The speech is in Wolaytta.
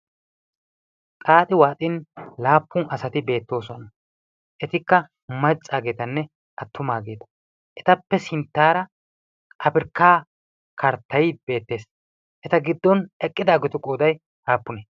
xaaxi waaxin laappun asati beettoosuwana etikka maccaageetanne attumaageeta etappe sinttaara afirkkaa karttai beettees eta giddon eqqidaageetu qoodai haappune